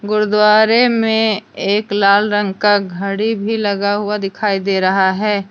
गुरुद्वारे में एक लाल रंग का घड़ी भी लगा हुआ दिखाई दे रहा है।